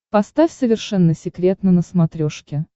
поставь совершенно секретно на смотрешке